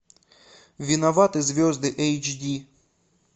виноваты звезды эйч ди